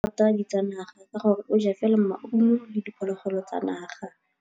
Tshekô o rata ditsanaga ka gore o ja fela maungo le diphologolo tsa naga.